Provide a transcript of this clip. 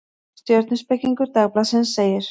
Stjörnuspekingur Dagblaðsins segir: